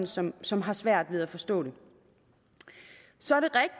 som som har svært ved at forstå det så er